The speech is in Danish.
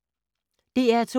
DR2